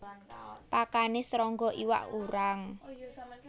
Pakane srangga iwak urang